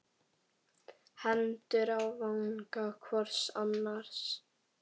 Hendur á vanga hvors annars.